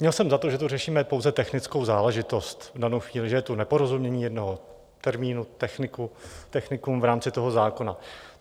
Měl jsem za to, že tu řešíme pouze technickou záležitost v danou chvíli, že je tu neporozumění jednomu termínu techniku v rámci toho zákona.